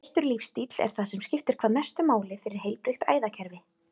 Breyttur lífsstíll er það sem skiptir hvað mestu máli fyrir heilbrigt æðakerfi.